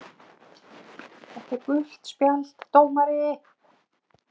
. þetta er gult spjald dómari!!!